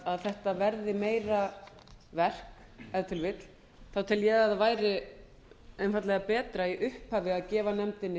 að þetta verði meira verk ef til vill tel ég að það verði einfaldlega betra í upphafi að gefa nefndinni